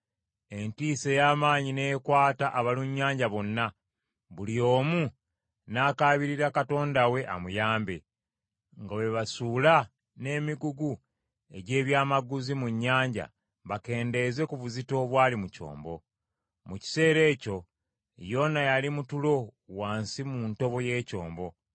Entiisa ey’amaanyi n’ekwata abalunnyanja bonna, buli omu n’akaabirira katonda we amuyambe, nga bwe basuula n’emigugu egy’ebyamaguzi mu nnyanja bakendeeze ku buzito obwali mu kyombo. Mu kiseera ekyo, Yona yali mu tulo wansi mu ntobo y’ekyombo.